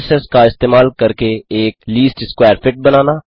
matrices का इस्तेमाल करके एक लीस्ट स्कवैर फिट बनाना